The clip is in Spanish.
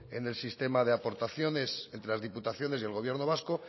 en el sistema de aportaciones entre las diputaciones y el gobierno vasco